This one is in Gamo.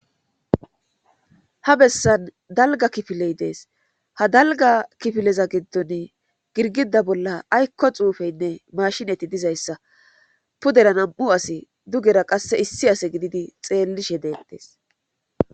Ha bessan dalga kifiley dees ha dalga kifileza giddon girgida bolla aykko xuufeynne mashinati dizayssa pudera nam'u asi dugera qasse issi ase gididi xeellishe deettes